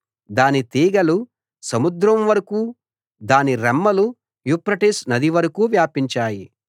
దాని తీగెలు సముద్రం వరకూ దాని రెమ్మలు యూఫ్రటీసు నది వరకూ వ్యాపించాయి